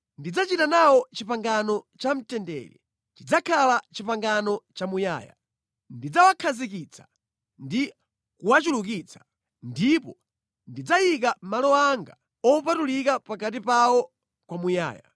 Ndidzachita nawo pangano lamtendere; lidzakhala pangano lamuyaya. Ndidzawakhazikitsa ndi kuwachulukitsa, ndipo ndidzayika malo anga opatulika pakati pawo kwamuyaya.